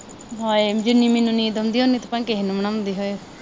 ਹਾਏ, ਜਿੰਨੀ ਮੈਨੂੰ ਨੀਂਦ ਆਉਂਦੀ ਆ, ਉਨੀ ਤਾਂ ਕਿਸੇ ਨੂੰ ਨੀ ਆਉਂਦੀ ਹੋਏ।